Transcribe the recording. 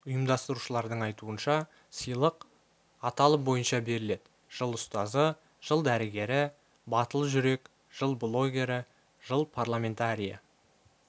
ұйымдастырушылардың айтуынша сыйлық аталым бойынша беріледі жыл ұстазы жыл дәрігері батыл жүрек жыл блогері жыл парламентарийі